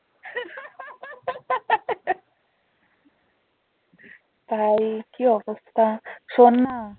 তাই কি অবস্থা শোন না